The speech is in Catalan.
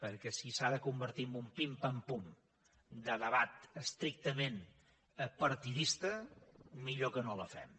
perquè si s’ha de convertir en un pim pam pum de debat estrictament partidista millor que no la fem